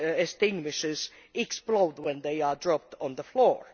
extinguishers explode when they are dropped on the floor.